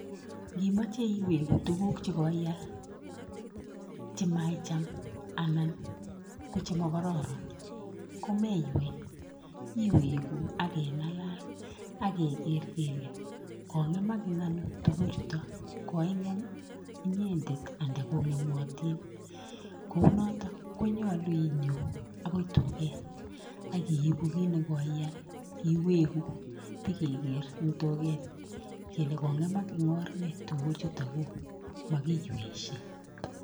Nkimoche iweku tuguk chekoial chemaicham anan ko chemakororon ko meywei, iweku akeng'alal akeker kele kong'emak eng ano tukuchuto, koing'em inyendet anda kong'emotin. Kounoto konyolu inyo akoi duket akiipu kit nekoial iweku p[ikeker eng duket kele kong'emak eng or nee tuguchutokuk, makiyweishei.